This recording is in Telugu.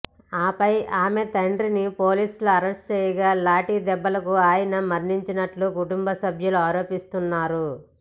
ఆపై ఆమె తండ్రిని పోలీసులు అరెస్టు చేయగా లాఠీ దెబ్బలకు ఆయన మరణించినట్లు కుటుంబ సభ్యులు ఆరోపిస్తున్నారు